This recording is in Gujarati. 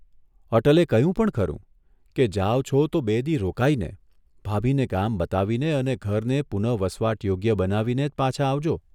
અટલે કહ્યું પણ ખરૂં કે જાઓ છો તો બે દિ ' રોકાઇને, ભાભીને ગામ બતાવીને અને ઘરને પુનઃવસવાટ યોગ્ય બનાવીને જ પાછાં આવજો.